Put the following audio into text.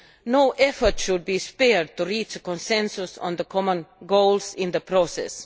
No effort should be spared to reach a consensus on the common goals in the process.